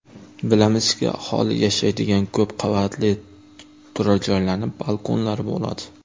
Bilamizki, aholi yashaydigan ko‘p qavatli turar joylarning balkonlari bo‘ladi.